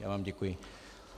Já vám děkuji.